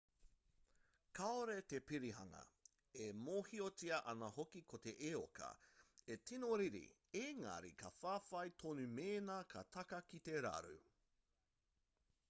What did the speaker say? kāore te pihiringa e mōhiotia ana hoki ko te eoka e tino riri engari ka whawhai tonu mēnā ka taka ki te raru